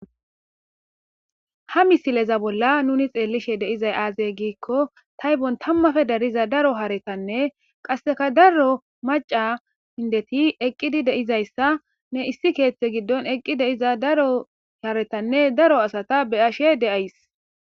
ha misileza bolla nuni xeellishe de'izay aazey giikko taybon tammafe dariza daro haretanne qasseka daro maca hindeti eqqidi de'izayssa ne issi keeththe giddon eqqi deiza daro haretanne daro asata beyashe deays